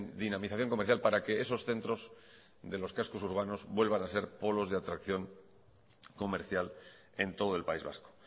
dinamización comercial para que esos centros de los cascos urbanos vuelvan a ser polos de atracción comercial en todo el país vasco